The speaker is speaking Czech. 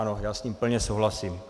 Ano, já s ním plně souhlasím.